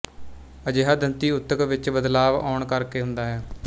ਅਜਿਹਾ ਦੰਤੀ ਊਤਕ ਵਿੱਚ ਬਦਲਾਵ ਆਉਣ ਕਰ ਕੇ ਹੁੰਦਾ ਹੈ